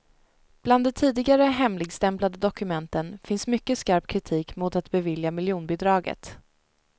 Bland de tidigare hemligstämplade dokumenten finns mycket skarp kritik mot att bevilja miljonbidraget.